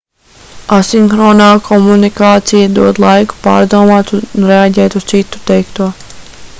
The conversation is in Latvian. asinhronā komunikācija dod laiku pārdomāt un reaģēt uz citu teikto